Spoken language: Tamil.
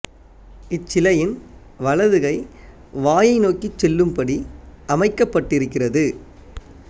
இச்சிலையின் வலது கை வாயை நோக்கிச் செல்லும் படி அமைக்கப்பட்டிருக்கிறது